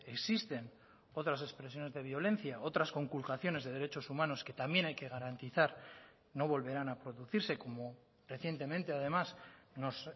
existen otras expresiones de violencia otras conculcaciones de derechos humanos que también hay que garantizar no volverán a producirse como recientemente además nos